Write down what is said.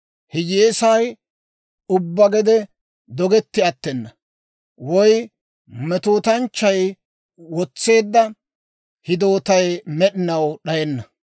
Hiyyeesay ubbaa gede dogetti attena; woy metootanchchay wotseedda hidootay med'inaw d'ayenna.